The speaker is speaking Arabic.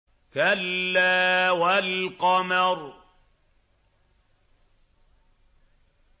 كَلَّا وَالْقَمَرِ